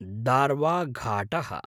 दार्वाघाटः